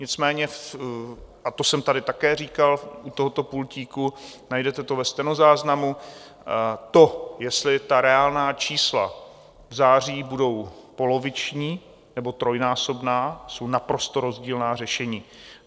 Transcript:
Nicméně, a to jsem tady také říkal u tohoto pultíku, najdete to ve stenozáznamu, to, jestli ta reálná čísla v září budou poloviční, nebo trojnásobná, jsou naprosto rozdílná řešení.